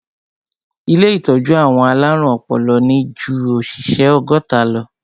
Ilé ìtọ́jú àwọn alárùn ọpọlọ ní ju òṣìṣẹ́ ọgọ́ta lọ.